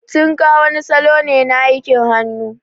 Tinka wani salo ne na aikin hannu.